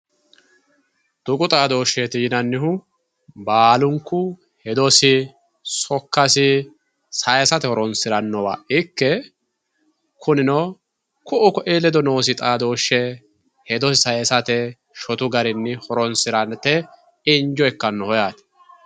tuqu xaadooshsheeti yinannihu baalunku hedosi sokkasi saysate horoonsirannowa ikke kunino ku'u ku'i ledo noosi xaadooshshe ikke hedote saysate shotu garinni horoonsirate injo ikkannosi yaate